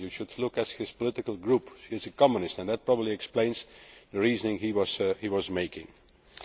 I mean you should look at his political group he is a communist and that probably explains the reasoning he was using.